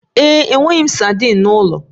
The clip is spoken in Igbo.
Ee e, enweghị m sadin n'ụlọ